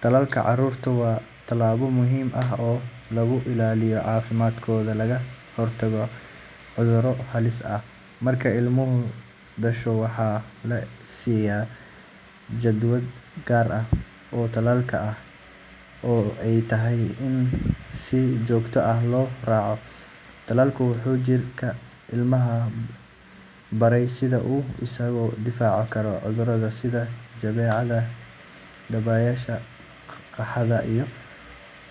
Tallaalka carruurta waa tallaabo muhiim ah oo lagu ilaaliyo caafimaadkooda lagana hortago cudurro halis ah. Marka ilmuhu dhasho, waxaa la siiyaa jadwal gaar ah oo tallaalka ah oo ay tahay in si joogto ah loo raaco. Tallaalka wuxuu jirka ilmaha barayaa sida uu isaga difaaci karo cudurro sida jadeecada, dabaysha, qaaxada, iyo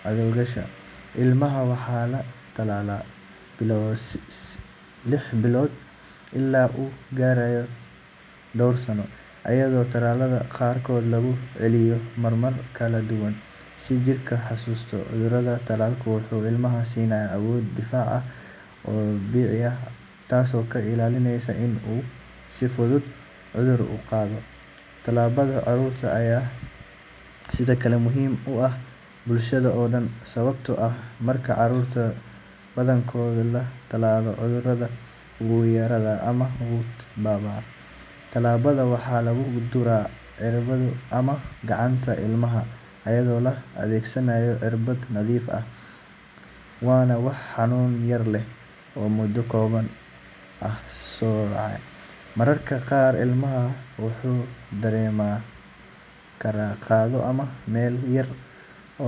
cagaarshowga. Ilmaha waxaa la tallaalaa laga bilaabo lix todobaad ilaa uu ka gaarayo dhowr sano, iyadoo tallaalada qaarkood lagu celiyo marar kala duwan si jirka u xasuusto cudurka. Tallaalku wuxuu ilmaha siinayaa awood difaac oo dabiici ah taasoo ka ilaalinaysa in uu si fudud cudur u qaado. Tallaalka carruurta ayaa sidoo kale muhiim u ah bulshada oo dhan, sababtoo ah marka carruurta badankood la tallaalo, cudurrada wuu yaraadaa ama wuu baaba'aa. Tallaalka waxaa lagu duraa ciribta ama gacanta ilmaha iyadoo la adeegsanayo irbad nadiif ah, waana wax xanuun yar leh oo muddo kooban ah soconaya. Mararka qaar ilmaha wuxuu dareemi karaa qandho ama meel yar oo.